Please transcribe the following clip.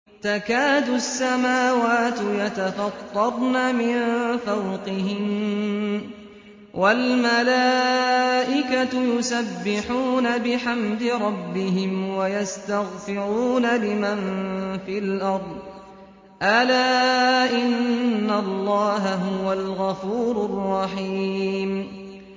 تَكَادُ السَّمَاوَاتُ يَتَفَطَّرْنَ مِن فَوْقِهِنَّ ۚ وَالْمَلَائِكَةُ يُسَبِّحُونَ بِحَمْدِ رَبِّهِمْ وَيَسْتَغْفِرُونَ لِمَن فِي الْأَرْضِ ۗ أَلَا إِنَّ اللَّهَ هُوَ الْغَفُورُ الرَّحِيمُ